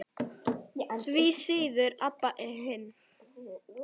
Því síður Abba hin.